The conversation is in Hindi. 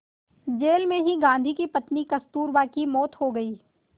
जेल में ही गांधी की पत्नी कस्तूरबा की मौत हो गई